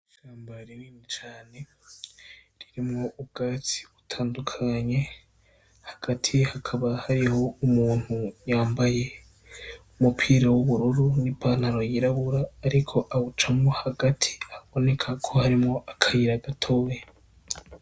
Ishamba rinini cane ririmwo ubwatsi butandukanye hagati hakaba hariho umuntu yambaye umupira w'ubururu n'ipantaro yirabura ariko awucamwo hagati haboneka ko harimwo akayira gatoyi.